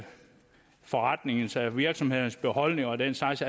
forretningens eller virksomhedens beholdning og den slags